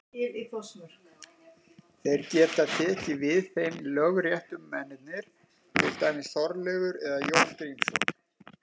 Þeir geta tekið við þeim lögréttumennirnir, til dæmis Þorleifur eða Jón Grímsson.